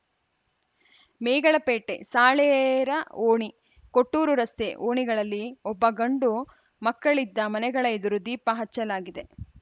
ಮೇಗಳಪೇಟೆ ಸಾಳೇರ ಓಣಿ ಕೊಟ್ಟೂರು ರಸ್ತೆ ಓಣಿಗಳಲ್ಲಿ ಒಬ್ಬ ಗಂಡು ಮಕ್ಕಳಿದ್ದ ಮನೆಗಳ ಎದುರು ದೀಪ ಹಚ್ಚಲಾಗಿದೆ